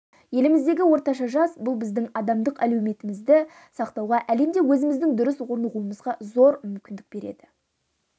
еліміздегі орташа жас бұл біздің адамдық әлеуетімізді сақтауға әлемде өзіміздің дұрыс орнығуымызға зор мүмкіндік береді